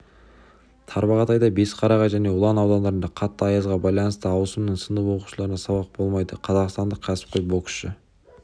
тарбағатай бесқарағай және ұлан аудандарында қатты аязға байланысты ауысымның сынып оқушыларына сабақ болмайды қазақстандық кәсіпқой боксшы